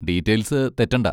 Details തെറ്റണ്ട.